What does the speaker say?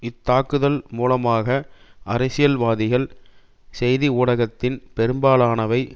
இத்தாக்குதல் மூலமாக அரசியல்வாதிகள் செய்தி ஊடகத்தின் பெரும்பாலானவை